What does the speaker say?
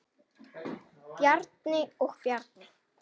Bjarni og Bjarni